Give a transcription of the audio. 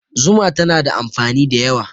Zuma tana da amfani da yawa.